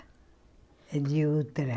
É de outra.